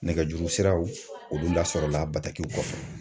Nɛgɛjuru siraw, olu lasɔrɔla bakiw kɔfɛ.